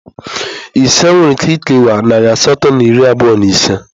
Ise nwere ike kewaa nari asatọ na iri abụọ na ise.